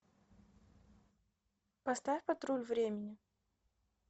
поставь патруль времени